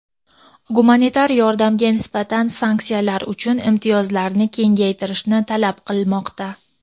gumanitar yordamga nisbatan sanksiyalar uchun imtiyozlarni kengaytirishni talab qilmoqda.